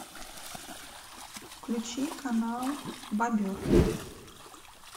включи канал бобер